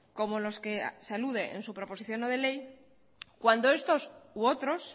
como los que se alude en su proposición no de ley cuando estos u otros